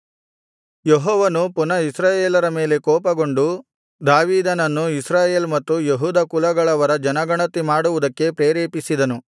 ಯೆಹೋವನು ಪುನಃ ಇಸ್ರಾಯೇಲರ ಮೇಲೆ ಕೋಪಗೊಂಡು ದಾವೀದನನ್ನು ಇಸ್ರಾಯೇಲ್ ಮತ್ತು ಯೆಹೂದ ಕುಲಗಳವರ ಜನಗಣತಿ ಮಾಡುವುದಕ್ಕೆ ಪ್ರೇರೇಪಿಸಿದನು